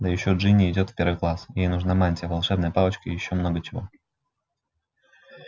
да ещё джинни идёт в первый класс ей нужна мантия волшебная палочка и ещё много чего